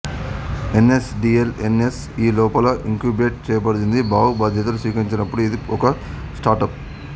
ఎన్ S DL N S E లోపల incubate చేయబడింది భావ్ బాధ్యతలు స్వీకరించినప్పుడు ఇది ఒక స్టార్టప్